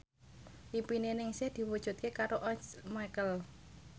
impine Ningsih diwujudke karo Once Mekel